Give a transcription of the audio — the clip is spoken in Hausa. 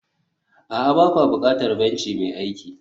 a'a, ba kwa buƙatar benci mai aiki